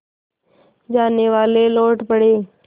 जानेवाले लौट पड़े